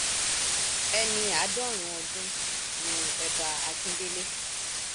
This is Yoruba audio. ẹni àádọrùnún ọdún ni ọba akíndélé